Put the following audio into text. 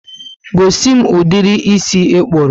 Gosimi ụdịrị ísì ikpuru